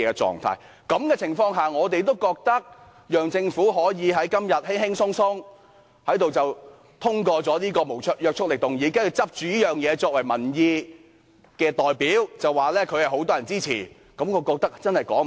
在這種情況下，我們覺得讓政府在今天輕輕鬆鬆通過這個無約束力議案，然後以此作為民意的代表，說有很多人支持，真的說不過去。